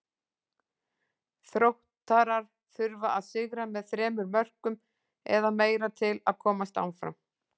Þróttarar þurfa að sigra með þremur mörkum eða meira til að komast áfram.